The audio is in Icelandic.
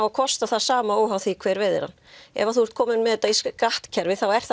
að kosta það sama óháð því hver veiðir hann ef þú ert kominn með þetta í skattkerfi þá er